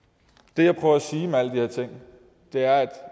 det jeg prøver at sige med alle de her ting er at